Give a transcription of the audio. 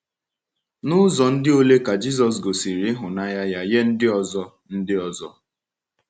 N’ụzọ ndị olee ka Jisọs gosiri ịhụnanya ya nye ndị ọzọ? ndị ọzọ?